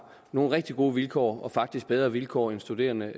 nogle rigtig gode vilkår og faktisk bedre vilkår end studerende